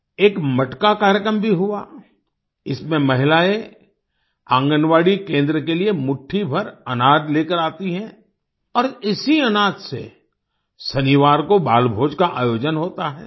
एक मटका कार्यक्रम भी हुआ इसमें महिलाएँ आंगनबाड़ी केंद्र के लिए मुट्ठी भर अनाज लेकर आती हैं और इसी अनाज से शनिवार को बालभोज का आयोजन होता है